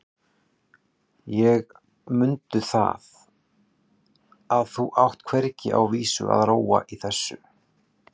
En mundu það að þú átt hvergi á vísan að róa í þessu.